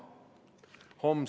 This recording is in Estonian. Aitäh!